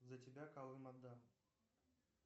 за тебя калым отдам